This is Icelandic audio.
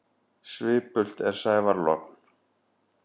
Svipult er sævar logn.